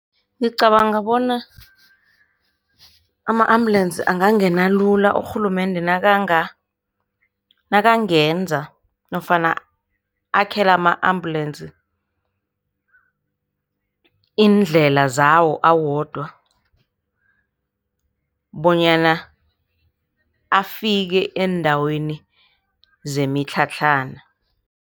Ngicabanga bona ama-ambulance angangena lula, urhulumende nakangenza nofana akhele ama-ambulensi iindlela zawo awodwa bonyana afike eendaweni zemitlhatlhana.